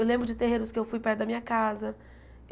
Eu lembro de terreiros que eu fui perto da minha casa.